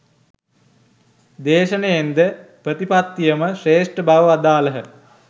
දේශනයෙන්ද ප්‍රතිපත්තියම ශ්‍රේෂ්ඨ බව වදාළහ.